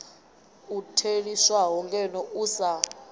u theliswaho ngeno u sa